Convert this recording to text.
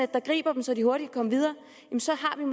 der griber dem så de hurtigt kan komme videre så